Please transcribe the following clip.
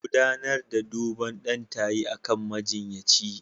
Gudanar da duban ɗan tayi akan majiyyaci.